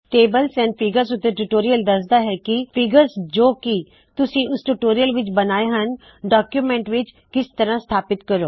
tables and figures ਉੱਤੇ tutorial ਦਸਦਾ ਹੈ ਕੀ ਫ਼ੀਗਰਸ ਜੋ ਕੀ ਤੁਸੀ ਇਸ ਟਯੂਟੋਰਿਅਲ ਵਿੱਚ ਬਣਾਏ ਹਣ ਡਾਕਯੂਮੈੰਟਸ ਵਿੱਚ ਕਿਸ ਤਰਹ ਸਥਾਪਿਤ ਕਰੋ